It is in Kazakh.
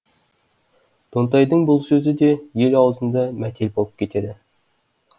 тонтайдың бұл сөзі де ел аузында мәтел болып кетеді